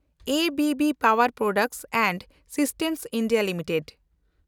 ABB power products and systems India limited